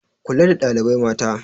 Kula da ɗalibai mata